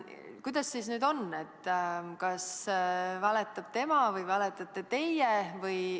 " Kuidas nüüd on, kas valetab tema või valetate teie?